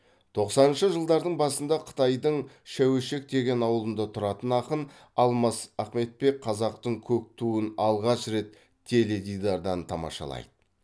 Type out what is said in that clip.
тоқсаныншы жылдардың басында қытайдың шәуешек деген ауылында тұратын ақын алмас ахметбек қазақтың көк туын алғаш рет теледидардан тамашалайды